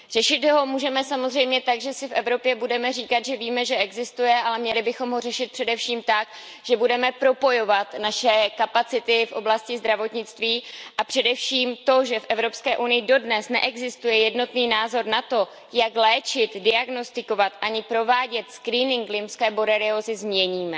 Řešit ho můžeme samozřejmě tak, že si budeme v Evropě říkat, že víme, že existuje, ale měli bychom ho řešit především tak, že budeme propojovat naše kapacity v oblasti zdravotnictví, a především to, že v Evropské unii dodnes neexistuje jednotný názor na to, jak léčit, diagnostikovat ani provádět screening lymské boreliózy, změníme.